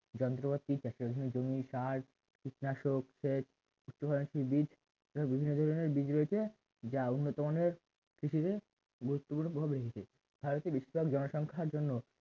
যন্ত্রপাতি চাষের জন্য জমি সার কীটনাশক সেচ উচ্চফলনশীল বীজ এবং বিভিন্ন ধরনের বীজ রয়েছে যা উন্নতমানের কৃষিতে গুরুত্বপূর্ণ প্রভাব রয়েছে ভারতের বেশিরভাগ জনসংখ্যার জন্য